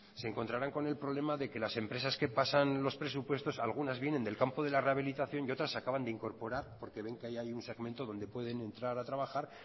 se encontrarán con el problema de que las empresas que pasan los presupuestos algunas vienen del campo de la rehabilitación y otras acaban de incorporar porque ven que hay un segmento donde pueden entrar a trabajar